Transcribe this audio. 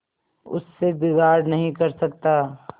उससे बिगाड़ नहीं कर सकता